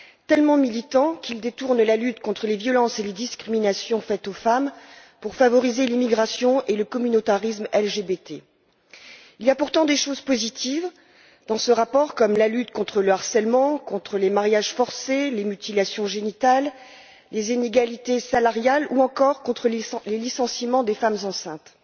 Tellement militant qu'il détourne la lutte contre les violences et les discriminations faites aux femmes pour favoriser l'immigration et le communautarisme LGBT. Il y a pourtant des choses positives dans ce rapport, comme la lutte contre le harcèlement, les mariages forcés, les mutilations génitales, les inégalités salariales ou encore le licenciement de femmes enceintes.